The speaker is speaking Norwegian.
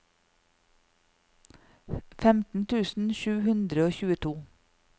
femten tusen sju hundre og tjueto